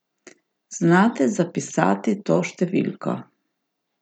Znate zapisati to številko?